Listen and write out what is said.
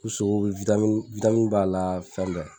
U sogo b'a la fɛn bɛɛ.